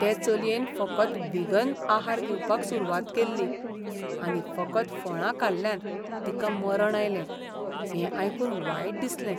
ते चलयेन फकत व्हिगन आहार घेवपाक सुरवात केल्ली आनी फकत फळां खाल्ल्यान तिका मरण आयलें, हें आयकून वायट दिसलें.